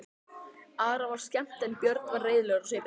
Ara var skemmt en Björn var reiðilegur á svipinn.